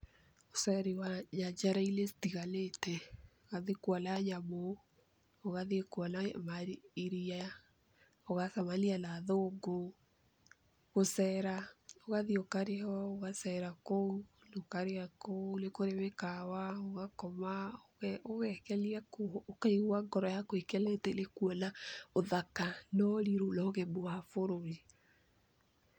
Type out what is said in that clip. Ũceri wa nyanjara-inĩ citiganĩte ũgathiĩ kuona nyamũ, ũgathiĩ kuona iria, ũgacemania na athũngũ. Gũcera ũgathiĩ ũkarĩhwo ũgacera kũu ũkarĩa kũu nĩ kũrĩ mĩkawa, ũgakoma ũgekenia kũu ũkaigua ngoro yaku ĩkenete nĩkuona ũthaka, na ũrirũ na ũgemu wa bũrũri.